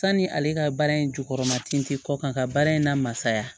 Sanni ale ka baara in jukɔrɔ matinin tɛ kɔ kan ka baara in lamasaya